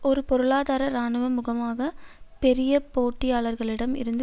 ஒரு பொருளாதார இராணுவ முகமாக பெரிய போட்டியாளர்களிடம் இருந்து